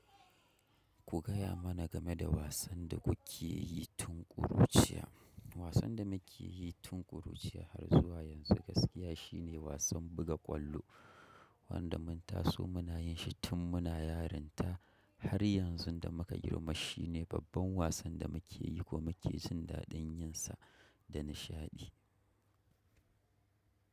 Ku gaya mana game da wasan da kuke yi tun ƙuruciya. Wasan da muke yi tun ƙuruciya har zuwa yanzu gaskiya shi ne wasan buga ƙwallo wanda mun taso muna yin shi tun muna yarinta har yanzu da muka girma. Shi ne babban wasan da muke yi ko muke jin daɗin yin sa da nishaɗi.